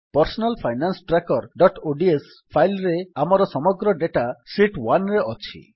personal finance trackerଓଡିଏସ file ରେ ଆମର ସମଗ୍ର ଡେଟା ଶୀତ୍ 1ରେ ଅଛି